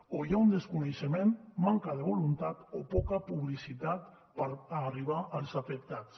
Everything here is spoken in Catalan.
o hi ha un desconeixement manca de voluntat o poca publicitat per arribar als afectats